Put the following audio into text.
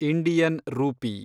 Indian rupee